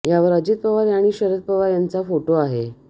यावर अजित पवार आणि शरद पवार यांचा फोटो आहे